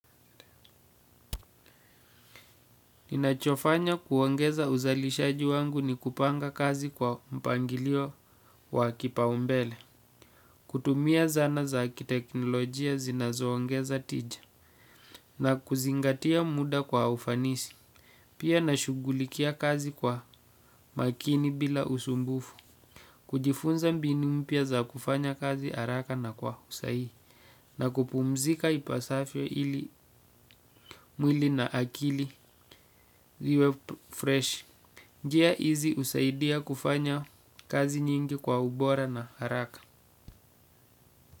Ninachofanya kuongeza uzalishaji wangu ni kupanga kazi kwa mpangilio wa kipaumbele. Kutumia zana za kiteknolojia zinazoongeza tija. Na kuzingatia muda kwa ufanisi. Pia nashughulikia kazi kwa makini bila usumbufu. Kujifunza mbinu mpya za kufanya kazi haraka na kwa usahihi. Na kupumzika ipasavyo ili mwili na akili ziwe fresh. Njia hizi husaidia kufanya kazi nyingi kwa ubora na haraka.